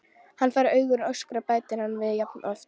Hann fær augu og öskrar, bætir hann við jafn oft.